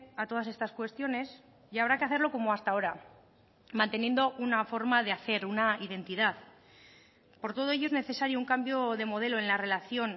a todas estas cuestiones y habrá que hacerlo como hasta ahora manteniendo una forma de hacer una identidad por todo ello es necesario un cambio de modelo en la relación